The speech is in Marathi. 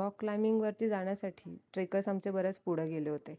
rock lining वरती जाण्यासाठी trackers आमच्या बरेच पुढे गेले होते